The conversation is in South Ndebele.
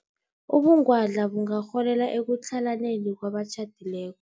Ubungwadla bungarholela ekutlhalaneni kwabatjhadileko.